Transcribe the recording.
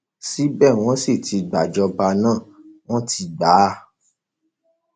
ṣebí wọn sì ti gbàjọba náà wọn ti gbà á